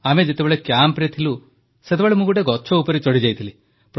ଆମେ ଯେତେବେଳେ କ୍ୟାମ୍ପରେ ଥିଲୁ ସେତେବେଳେ ମୁଁ ଗୋଟିଏ ଗଛ ଉପରେ ଚଢ଼ିଯାଇଥିଲି